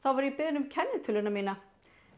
var ég beðin um kennitöluna mína